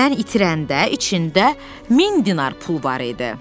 Mən itirəndə içində 1000 dinar pul var idi.